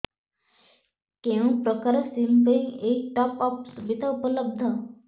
କେଉଁ ପ୍ରକାର ସିମ୍ ପାଇଁ ଏଇ ଟପ୍ଅପ୍ ସୁବିଧା ଉପଲବ୍ଧ